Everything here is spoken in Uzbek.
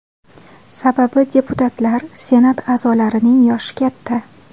Sababi deputatlar, Senat a’zolarining yoshi katta.